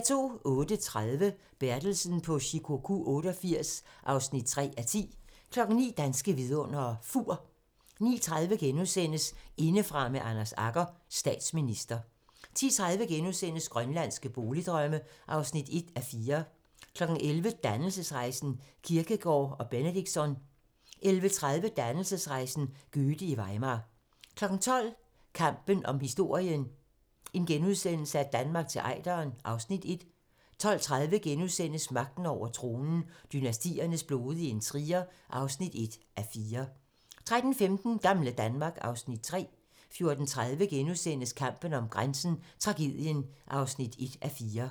08:30: Bertelsen på Shikoku 88 (3:10) 09:00: Danske vidundere: Fur 09:30: Indefra med Anders Agger - Statsminister * 10:30: Grønlandske boligdrømme (1:4)* 11:00: Dannelsesrejsen - Kierkegaard og Benedictsson 11:30: Dannelsesrejsen - Goethe i Weimar 12:00: Kampen om historien - Danmark til Ejderen (Afs. 1)* 12:30: Magten over tronen - dynastiernes blodige intriger (1:4)* 13:15: Gamle Danmark (Afs. 3) 14:30: Kampen om grænsen - Tragedien (1:4)*